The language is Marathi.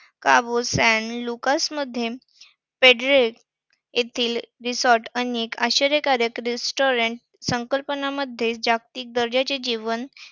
मध्ये फेड्रेस येथील resort आणि आश्चर्यकारक restaurant संकल्पनामध्ये जागतिक दर्जाचे जेवण